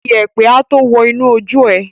Iyẹ̀pẹ̀ a tó wọ́ inú ojú ẹ.